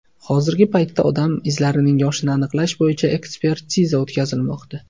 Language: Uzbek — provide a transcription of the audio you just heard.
Hozirgi paytda odam izlarining yoshini aniqlash bo‘yicha ekspertiza o‘tkazilmoqda.